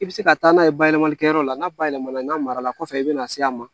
I bɛ se ka taa n'a ye bayɛlɛmalikɛyɔrɔ la n'a bayɛlɛma n'a mara la kɔfɛ i bɛna se a ma